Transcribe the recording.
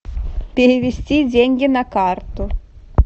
перевести деньги на карту